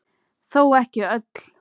Þó ekki öll.